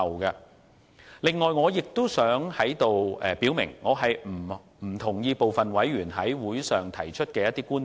此外，我亦想在此表明，我不同意部分委員在會上提出的觀點。